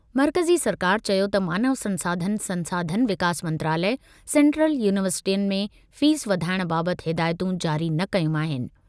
मर्कज़ी सरकार चयो त मानव संसाधन संसाधन विकास मंत्रालय, सैंट्रल यूनिवर्सिटियुनि में फीस वधाइण बाबतु हिदायतूं जारी न कयूं आहिनि।